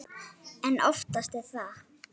En oftast er það